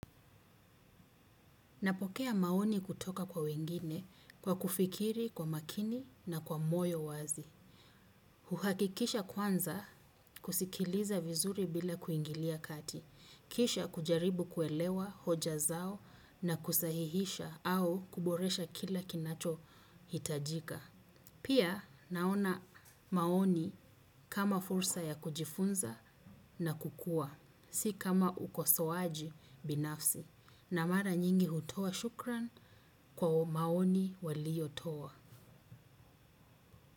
Napokea maoni kutoka kwa wengine kwa kufikiri kwa umakini na kwa moyo wazi. Huhakikisha kwanza kusikiliza vizuri bila kuingilia kati. Kisha kujaribu kuelewa hoja zao na kusahihisha au kuboresha kila kinachohitajika. Pia naona maoni kama fursa ya kujifunza na kukua. Si kama ukosoaji binafsi na mara nyingi hutoa shukrani kwa maoni waliyotoa.